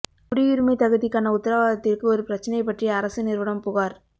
குடியுரிமை தகுதிக்கான உத்தரவாதத்திற்கு ஒரு பிரச்னை பற்றி அரசு நிறுவனம் புகார்